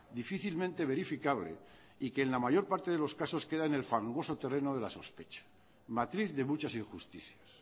difícilmente verificable y que en la mayor parte de los casos queda en el fangoso terreno de la sospecha matriz de muchas injusticias